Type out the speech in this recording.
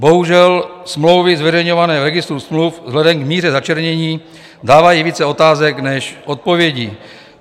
Bohužel, smlouvy zveřejňované v registru smluv vzhledem k míře začernění dávají více otázek než odpovědí.